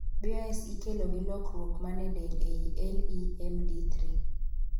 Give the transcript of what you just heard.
BOS ikelo gi lokruok mane del ei LEMD3